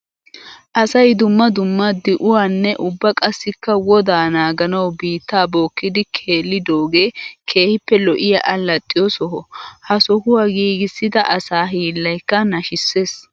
Asay dumma dumma di'uwanne ubba qassikka woddaa naaganawu biitta bookkiddi keellidooge keehippe lo'iya alaxxiyo soho. Ha sohuwa giigisidda asaa hiillaykka nashisees.